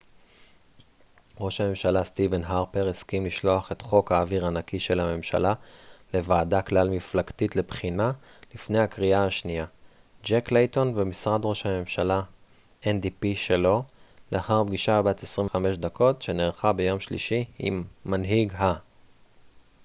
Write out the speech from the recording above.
"ראש הממשלה סטיבן הרפר הסכים לשלוח את "חוק האוויר הנקי" של הממשלה לוועדה כלל מפלגתית לבחינה לפני הקריאה השנייה שלו לאחר פגישה בת 25 דקות שנערכה ביום שלישי עם מנהיג ה-ndp ג'ק לייטון במשרד ראש הממשלה.